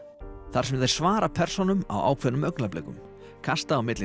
þar sem þeir svara persónunum á ákveðnum augnablikum kasta á milli